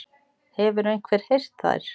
Hefur einhver heyrt þær?